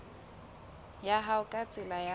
ya hao ka tsela ya